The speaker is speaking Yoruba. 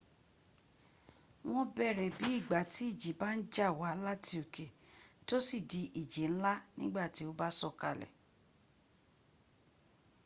wọ́n bẹ̀rẹ̀ bí ìgbàtí ìjì bá ń ba wá láti òkè 'tó sì di ìjì ńlá” nígbàtí ó bá sọ̀kalẹ̀